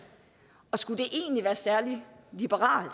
og skulle det egentlig være særlig liberalt